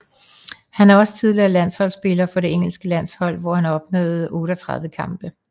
Han er også tidligere landholdsspiller for det engelske landshold hvor han opnåede 38 kampe